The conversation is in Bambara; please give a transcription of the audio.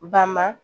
Ba ma